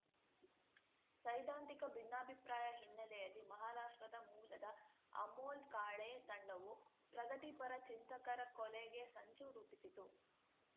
ಸೈದ್ಧಾಂತಿಕ ಭಿನ್ನಾಭಿಪ್ರಾಯ ಹಿನ್ನೆಲೆಯಲ್ಲಿ ಮಹಾರಾಷ್ಟ್ರದ ಮೂಲದ ಅಮೋಲ್‌ ಕಾಳೆ ತಂಡವು ಪ್ರಗತಿಪರ ಚಿಂತಕರ ಕೊಲೆಗೆ ಸಂಚು ರೂಪಿಸಿತು